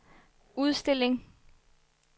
udstilling